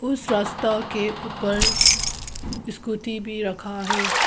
इस रास्ता के ऊपर स्कूटी भी रखा है।